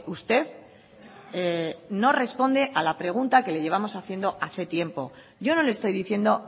usted no responde a la pregunta que le llevamos haciendo hace tiempo yo no le estoy diciendo